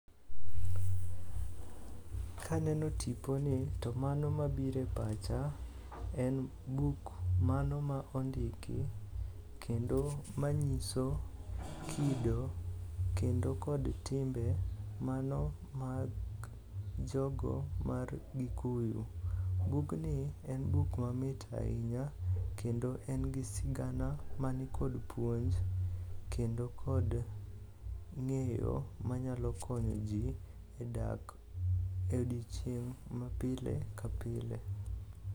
Kaneno tiponi to mano mabiro e pacha en buk mano ma ondiki kendo manyiso kido kendo kod timbe mano mag jogo mar Gikuyu. Bugni en buk mamit ahinya kendo en gi sigana man kod puonj kendo kod ng'eyo manyalo konyo ji e dak e odiechieng' mapile ka pile.